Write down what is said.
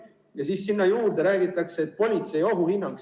Ja siis sinna juurde räägitakse, et politsei ohuhinnang.